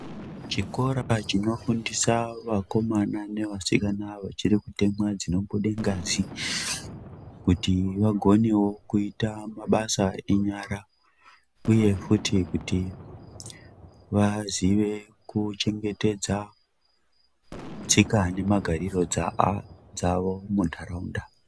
Chikora chinofundisa vakomana nevasikana vachiri kutemwa dzinobude ngazi kuti vagonewo kuita mabasa enyara uye futi kuti vaziye kuchengetedza tsika nemagariro awo munharaunda.